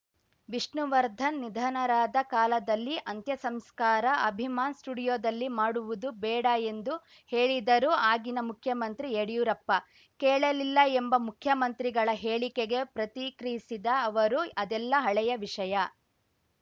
ವಿಷ್ಣುವರ್ಧನ್‌ ನಿಧನರಾದ ಕಾಲದಲ್ಲಿ ಅಂತ್ಯ ಸಂಸ್ಕಾರ ಅಭಿಮಾನ್‌ ಸ್ಟುಡಿಯೋದಲ್ಲಿ ಮಾಡುವುದು ಬೇಡ ಎಂದು ಹೇಳಿದರೂ ಆಗಿನ ಮುಖ್ಯಮಂತ್ರಿ ಯಡಿಯೂರಪ್ಪ ಕೇಳಲಿಲ್ಲ ಎಂಬ ಮುಖ್ಯಮಂತ್ರಿಗಳ ಹೇಳಿಕೆಗೆ ಪ್ರತಿಕ್ರಿಯಿಸಿದ ಅವರು ಅದೆಲ್ಲಾ ಹಳೆಯ ವಿಷಯ